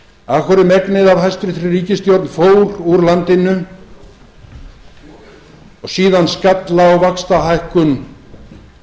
hverju megnið af hæstvirt ríkisstjórn fór úr landinu og síðan skall á vaxtahækkun